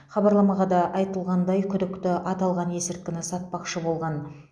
хабарламада айтылғандай күдікті аталған есірткіні сатпақшы болған